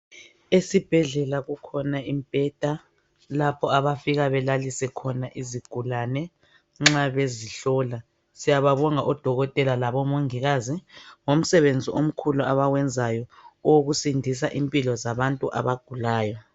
Esibhedlela kukhona imbheda lapho abafika belalise khona izigulane nxa bezihlola siyababonga odokotela labo mongikazi ngomsebenzi omkhulu abawenzayo owokusindisa impilo zabantu abagulayo.